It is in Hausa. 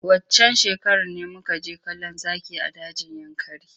Waccan shekarar ne muka je kallon zaki a dajin yankari.